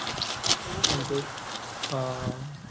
જોવું પડે બધુ. હા